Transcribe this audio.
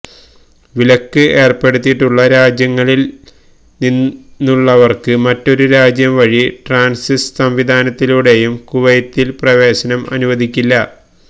വിലക്ക് ഏര്പ്പെടുത്തിയിട്ടുള്ള രാജ്യങ്ങളില് നിന്നുള്ളവര്ക്ക് മറ്റൊരു രാജ്യം വഴി ട്രാന്സിറ്റ് സംവിധാനത്തിലൂടെയും കുവൈത്തില് പ്രവേശനം അനുവദിക്കില്ല